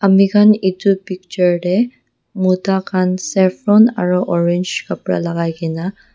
ami khan etu picture tey mota khan saffron aro orange kapra la kai kena.